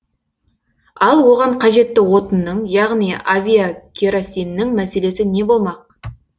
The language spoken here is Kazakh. ал оған қажетті отынның яғни авиакеросиннің мәселесі не болмақ